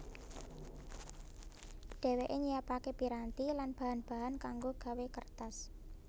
Dheweke nyiapake piranti lan bahan bahan kango gawé kertas